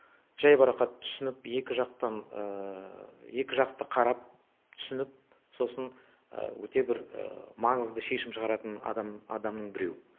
жай барақат түсініп екі жақты қарап түсініп сосын өте бір маңызды шешім шығаратын адамның біреу